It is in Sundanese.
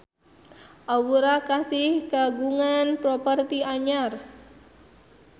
Aura Kasih kagungan properti anyar